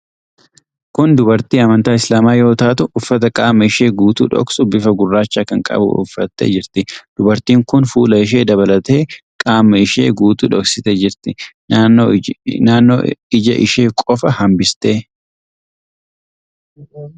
Kun dubartii amantaa Islaamaa yoo taatu, uffata qaama ishee guutuu dhoksu, bifa gurraacha kan qabu uffattee jirti. Dubartiin kun fuula ishee dabalatee qaama ishee guutuu dhoksitee jirti. Naannoo ija ishee qofa hambiste.